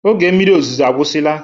Oge mmiri ozuzo agwusila.